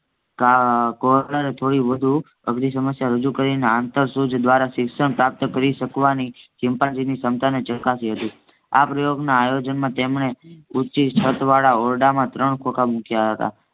કોહલરે થોડી વધુ અધરી સમસ્યા રજુ કરીને આંતરસુજ દ્વારા શિક્ષણ પ્રાપ્ત કરી શકવાની ચિમ્પાન્જીની ક્ષમતાને ચકાશી હતી. આ પ્રયોગના આયોજન માં તેમને ઉંચી છત વાળા ઓરડામાં ત્રણ ખોખ મુક્યા હતા.